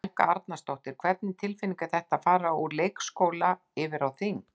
Helga Arnardóttir: Hvernig tilfinning er þetta, að fara úr leikskóla yfir á þing?